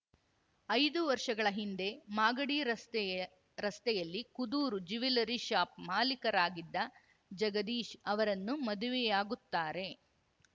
ಐದು ವರ್ಷಗಳ ಹಿಂದೆ ಮಾಗಡಿ ರಸ್ತೆಯ ರಸ್ತೆಯಲ್ಲಿ ಕುದೂರು ಜ್ಯುವೆಲ್ಲರಿ ಶಾಪ್‌ ಮಾಲೀಕರಾಗಿದ್ದ ಜಗದೀಶ್‌ ಅವರನ್ನು ಮದುವೆಯಾಗುತ್ತಾರೆ